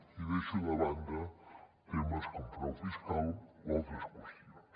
i deixo de banda temes com frau fiscal o altres qüestions